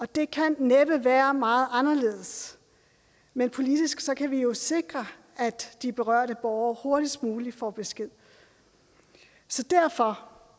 det kan næppe være meget anderledes men politisk kan vi jo sikre at de berørte borgere hurtigst muligt får besked så derfor